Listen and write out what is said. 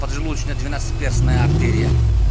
под желудочно-двенадцатиперстная артерия